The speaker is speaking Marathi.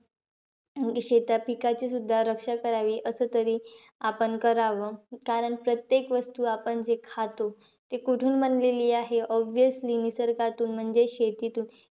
अं शेतात पिकाचीसुद्धा रक्षा करावी. असतरी आपण करावं. कारण प्रत्येक वस्तू जी आपण खातो, ती कुठून बनलेली आहे? Obviously निसर्गातून म्हणजेचं शेतीतुन.